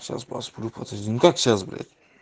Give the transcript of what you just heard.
сейчас посплю подожди ну как сейчас блять